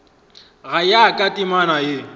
go ya ka temana ye